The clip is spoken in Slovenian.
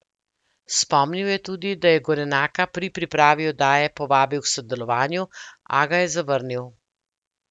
Spomnil je tudi, da je Gorenaka pri pripravi oddaje povabil k sodelovanju, a ga je zavrnil.